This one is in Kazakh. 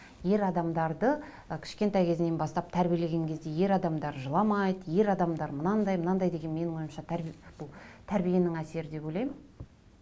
ер адамдарды ы кішкентай кезінен бастап тәрбиелеген кезде ер адамдар жыламайды ер адамдар мынандай мынандай деген менің ойымша бұл тәрбиенің әсері деп ойлаймын